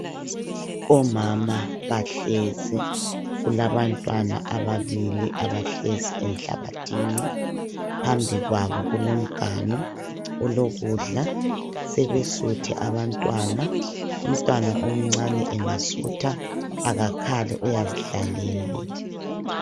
Omama bahlezi kulabantwana amabili abahlezi enhlabathini bath welele imganu olokudla sebesuthi abantwana umntwana omncani engasutha akakhali ayazi dlalela